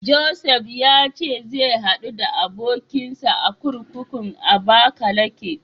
Josef ya ce zai haɗu da abokinsa a kurkukun Abakalake.